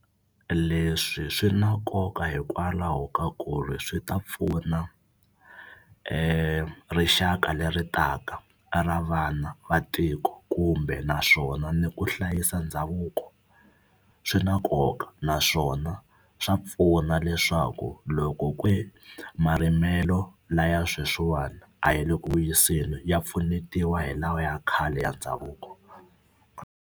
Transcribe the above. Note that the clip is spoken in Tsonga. Leswi swi na nkoka hikwalaho ka ku ri swi ta pfuna rixaka leri taka ra vana va tiko kumbe naswona ni ku hlayisa ndhavuko swi na nkoka naswona swa pfuna leswaku loko marimelo laya sweswiwani a yi le ku vuyiseni ya pfunetiwa hi lawa ya khale ya ndhavuko.